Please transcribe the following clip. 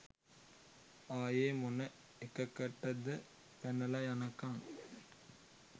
ආයෙ මොන එකකටද පැනල යනකං